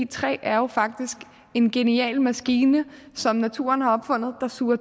træ er jo faktisk en genial maskine som naturen har opfundet der suger